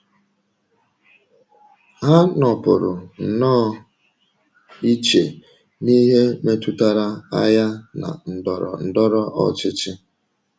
Ha nọpụrụ nnọọ iche n’ihe metụtara agha na ndọrọ ndọrọ ọchịchị.